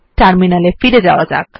terminal এ ফিরে যাওয়া যাক